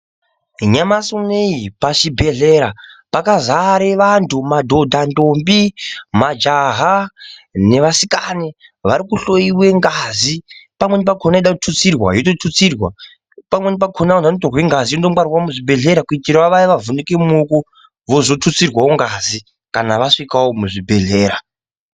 Nemasumweyi pachibhedhleya pakazare vantu madhodha nthombi majaha nevasikani vakuhloyiwe ngazi pamweni pakona vanoda kututsirwa waitotutsirwa pamweni pakona vantu vanotongwe ngazi munongwarwawo muzvibhedhleya kuitirawo waye vavhuniki mumaoko vozotitsirwawo ngazi kana vasvikawo muzvibhedhleya